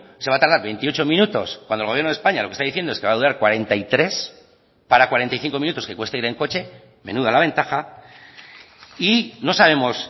se va a tardar veintiocho minutos cuando el gobierno de españa lo que está diciendo es que va a durar cuarenta y tres minutos para cuarenta y cinco minutos que cuesta ir en coche menuda la ventaja y no sabemos